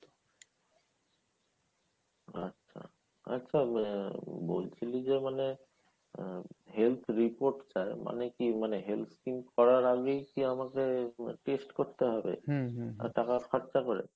আচ্ছা, আচ্ছা আহ বলছিলি যে মানে আহ health report চায় মানে কি মানে health scheme করার আগেই কি আমাকে case করতে হবে আর টাকা থাকতে হবে ?